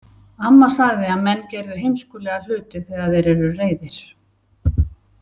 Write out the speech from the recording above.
Amma sagði að menn gerðu heimskulega hluti þegar þeir eru reiðir.